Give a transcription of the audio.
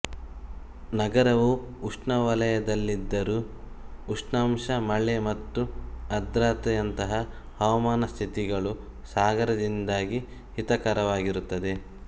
ನಗರವು ಉಷ್ಣವಲಯದಲ್ಲಿದ್ದರೂ ಉಷ್ಣಾಂಶ ಮಳೆ ಮತ್ತು ಆರ್ದ್ರತೆಯಂತಹ ಹವಾಮಾನ ಸ್ಥಿತಿಗಳು ಸಾಗರದಿಂದಾಗಿ ಹಿತಕರವಾಗಿರುತ್ತದೆ